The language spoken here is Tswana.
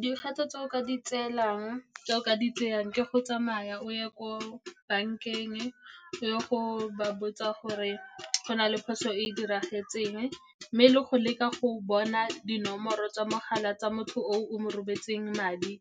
Dikgato tse o ka di tsayang ke go tsamaya o ye ko bankeng, o ye go ba botsa gore go na le phoso e e diragetseng, mme le go leka go bona dinomoro tsa mogala tsa motho o o mo rometseng madi,